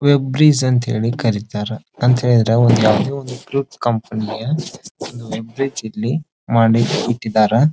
Web series ಅಂತ ಕರೀತಾರೆ ಅಂತ ಹೇಳೀದ್ರೆ ಯಾವ್ದೋ ಒಂದು ಕಂಪನಿಯ ವೆಬ್ ರೀಸ್ ಮಾಡಿ ಇಟ್ಟಿದ್ದಾರೆ.